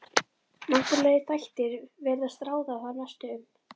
Náttúrulegir þættir virðast ráða þar mestu um.